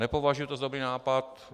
Nepovažuji to za dobrý nápad.